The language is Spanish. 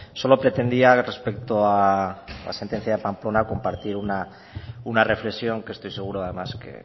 solo pretendía respecto a la sentencia de pamplona compartir una reflexión que estoy seguro además que